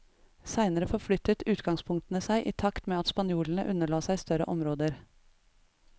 Seinere forflyttet utgangspunktene seg i takt med at spanjolene underla seg større områder.